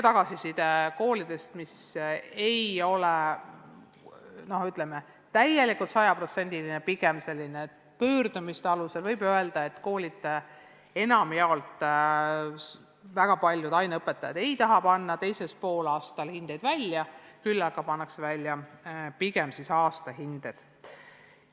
Ja koolidest saadud tagasiside põhjal, mis ei ole täielik, sajaprotsendiline, vaid esitatud pigem pöördumiste alusel, võib öelda, et väga paljud aineõpetajad ei taha panna teisel poolaastal hindeid välja, vaid panevad pigem aastahinde.